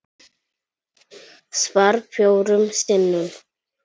Svar: Fjórum sinnum